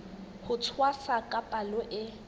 ho tshwasa ka palo e